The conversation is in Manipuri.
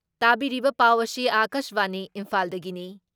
ꯇꯥꯕꯤꯔꯤꯕ ꯄꯥꯎ ꯑꯁꯤ ꯑꯀꯥꯁꯕꯥꯅꯤ ꯏꯝꯐꯥꯜꯗꯒꯤꯅꯤ ꯫